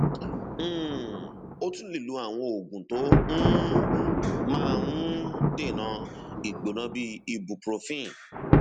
um o tún lè lo àwọn oògùn tó um máa ń um dènà ìgbóná bíi ibuprofen